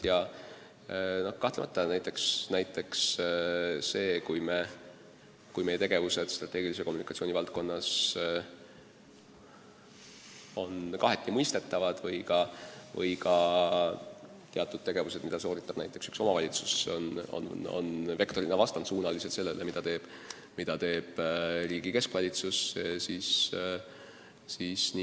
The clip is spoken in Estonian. Ma juhin alati sellele tähelepanu, kui näiteks meie tegevused strateegilise kommunikatsiooni valdkonnas on kaheti mõistetavad või kui teatud tegevus mõnes omavalitsuses on vektorina vastandsuunaline sellega, mida teeb riigi keskvalitsus.